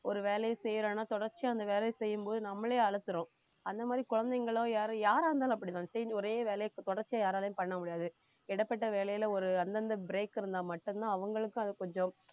ஒரு வேலையை செய்யறான்னா தொடர்ச்சியா அந்த வேலையை செய்யும்போது நம்மளே அலுத்துரும் அந்த மாதிரி குழந்தைகளோ யாரு யாரா இருந்தாலும் அப்படித்தான் செய்யணும் ஒரே வேலையை தொடர்ச்சியா யாராலயும் பண்ண முடியாது இடைப்பட்ட வேலையில ஒரு அந்தந்த break இருந்தா மட்டும்தான் அவங்களுக்கும் அது கொஞ்சம்